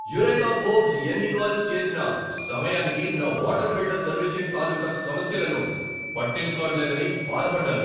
Eureka Forbes ఎన్ని calls చేసినా సమయానికి నా వాటర్ ఫిల్టర్ సర్వీసింగ్ తాలూకు సమస్యలను పట్టించుకోవట్లేదని బాధపడ్డాను.